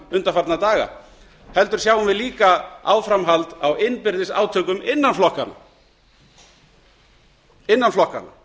undanfarna daga heldur sjáum við líka áframhald á innbyrðis átökum innan flokkanna